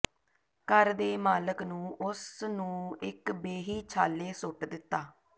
ਘਰ ਦੇ ਮਾਲਕ ਨੂੰ ਉਸ ਨੂੰ ਇੱਕ ਬੇਹੀ ਛਾਲੇ ਸੁੱਟ ਦਿੱਤਾ